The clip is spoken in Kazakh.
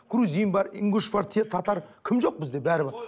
грузин бар ингуш бар татар кім жоқ бізде бәрі бар